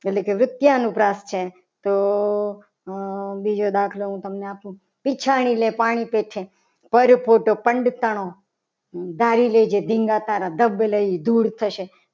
એટલે કે વૃત્યાનુપ્રાશ છે. તો બીજો દાખલો હું તમને આપું ઈચ્છાની ને પાણી પી છે. ભર photo પંદ તાનો ભરી લેજે ઢીંગા તારા ધબ લઇ ધૂળ થશે.